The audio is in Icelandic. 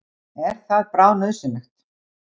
Er það bráðnauðsynlegt?